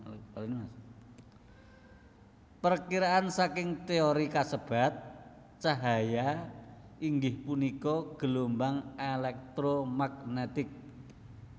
Perkiraan saking téori kasebat cahaya inggih punika gelombang elektromagnetik